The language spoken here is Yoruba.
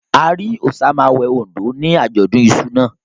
A rí Òsamàwé Oǹdó ní àjọ̀dún iṣu náà.